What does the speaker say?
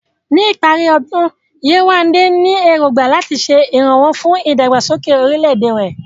Ní ìparí ọdún, Yewande ní èrògbà láti ṣe ìrànwọ́ fún ìdàgbàsókè orílẹ̀-èdè rẹ̀.